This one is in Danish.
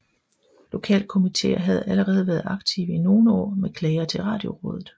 Lokalkomitéer havde allerede været aktive i nogle år med klager til Radiorådet